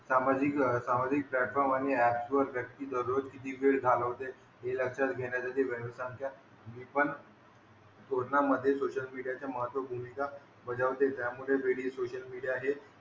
सामाजिक सामाजिक प्लॅटफॉर्म आणि ऍप्स वर व्यक्ती दररोज किती वेळ घालवते हे लक्षात घेण्यासाठी वेळ संख्या हि पण मोजण्यामधे सोशल मीडियाच्या महत्त्व भूमिका बजावते ज्यामधे रेडिओ सोशल मीडिया हे,